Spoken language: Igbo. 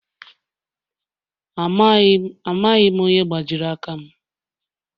Amaghị m onye gbajiri aka m.